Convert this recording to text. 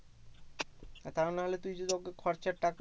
তা নাহলে তুই যদি ওকে খরচার টাকা